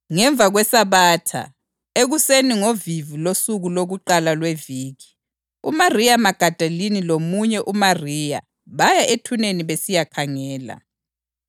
Ngemva kweSabatha, ekuseni ngovivi losuku lokuqala lweviki, uMariya Magadalini lomunye uMariya baya ethuneni besiyakhangela.